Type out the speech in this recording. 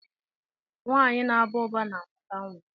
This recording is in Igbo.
Nwaanyị na Aba uba na amụta nwa.